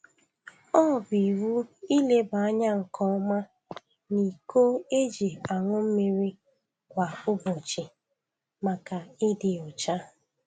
ọ bụ iwu ileba anya nke ọma n'iko eji aṅụ mmiri kwa ubọchi maka ịdị ọcha